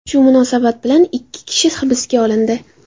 Shu munosabat bilan ikki kishi hibsga olindi.